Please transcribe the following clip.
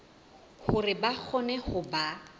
hore ba kgone ho ba